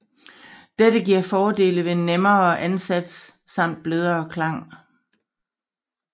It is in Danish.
Dette giver fordelene ved nemmere ansats samt blødere klang